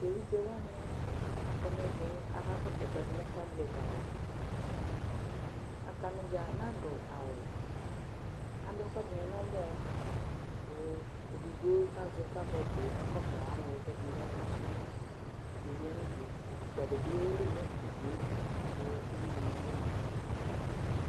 Evidzewanɩ akɔ n'ɛvɛ k'aka kɔsʋ ɛkʋɛdɩ nʋ tablɛt ava Atanɩ dza nadʋ awʋ Adʋ ɛkʋɛdɩnɩ n'ɛlʋɛ , kʋ edigboe k'azɛ tablɛt ka kɔsʋ alɛnɛ k'ɛdɩnɩ ka kɔsʋ ; ɛdɩɛ ya n'udue , utukpǝdɩ bɩ eli nʋ udue kʋ ulidɩnɩ bɩ ma